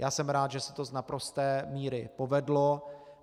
Já jsem rád, že se to z naprosté míry povedlo.